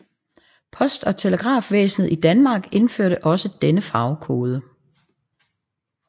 Post og Telegrafvæsenet i Danmark indførte også denne farvekode